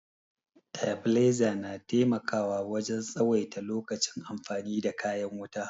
Tabiliza na taimakawa wajen tsawaita lokacin amfani da kayan wuta